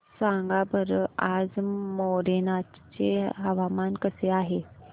सांगा बरं आज मोरेना चे हवामान कसे आहे